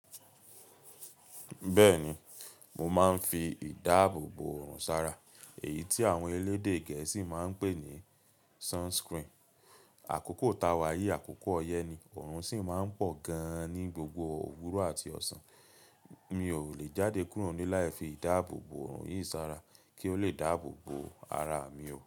Bẹ́ẹ̀ni, mo máa ń fi ìdáàbòbo òrùn sára, èyí tí àwọn elédè Gẹ̀ẹ́sì máa ń pè ní sunscreen. Àkókò táa wa yìí, àkókò ọyẹ́ ni, òrùn sì máa ń pọ̀ gan-an ní gbogbo òwúrọ̀ àti ọ̀sán. Mi ò lè jáde kúrò níle láì fi ìdáàbò bo òrùn yìí sára kí ó lè dábò bo ara mi o.